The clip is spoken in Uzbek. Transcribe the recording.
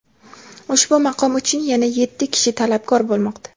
Ushbu maqom uchun yana yetti kishi talabgor bo‘lmoqda.